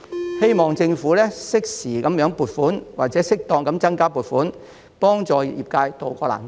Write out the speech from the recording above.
我希望政府適時撥款或適當增加撥款，以幫助業界渡過難關。